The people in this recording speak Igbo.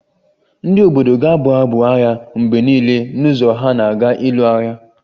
Ndị obodo ga-abụ abụ agha mgbe niile n'ụzọ ha na-aga ịlụ agha